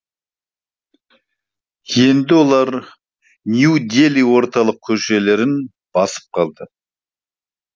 енді олар нью дели орталық көшелерін басып қалды